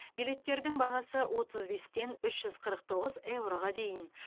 билеттердің бағасы отыз бестен үш жүз қырық тоғыз еуроға дейін